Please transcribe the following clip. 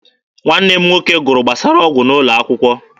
Nwanne m nwoke gụrụ gbasara ọgwụ n'ụlọ akwụkwọ.